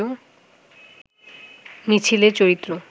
মিছিলের চরিত্র